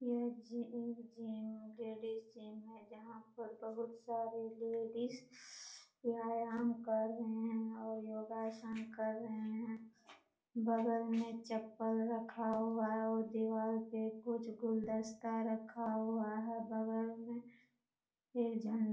यह जिम एक gym ladies gym है यहाँ पर बहुत सारे लेडीज व्यायाम कर रहे हैं और योगा आसन कर रहे हैं बगल में चप्पल रखा हुआ है और दीवार पे कुछ गुलदस्ता रखा हुआ है बगल में एक झण् --